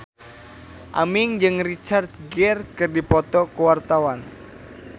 Aming jeung Richard Gere keur dipoto ku wartawan